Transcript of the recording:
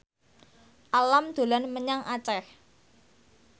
Alam dolan menyang Aceh